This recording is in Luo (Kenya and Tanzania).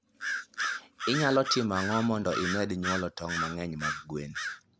Inyalo timo ang'o mondo imed nyuol tong mangeny mag gwen?